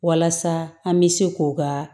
Walasa an bɛ se k'o ka